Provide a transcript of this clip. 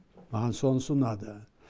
маған сонысы ұнады